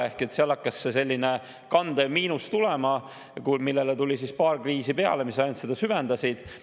Ehk siis hakkas selline kandev miinus tekkima, millele tuli paar kriisi peale, mis ainult seda süvendasid.